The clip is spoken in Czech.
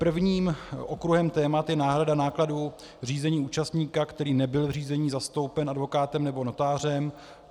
Prvním okruhem témat je náhrada nákladů řízení účastníka, který nebyl v řízení zastoupen advokátem nebo notářem.